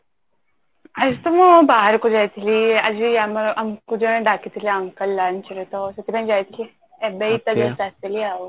ଆଜି ତ ମୁଁ ବାହାରକୁ ଯାଇଥିଲି ଆଜି ଆମ ଆମକୁ ଜଣେ ଡ଼ାକିଥିଲେ uncle lunch ରେ ତ ସେଥିପାଇଁ ଯାଇଥିଲି ଏବେ ହିଁ ତ just ଆସିଲି ଆଉ